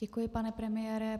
Děkuji, pane premiére.